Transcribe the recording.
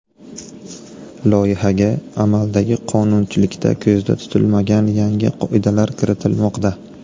Loyihaga amaldagi qonunchilikda ko‘zda tutilmagan yangi qoidalar kiritilmoqda.